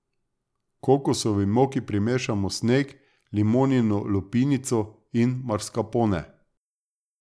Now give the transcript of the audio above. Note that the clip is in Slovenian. Kokosovi moki primešamo sneg, limonino lupinico in mascarpone.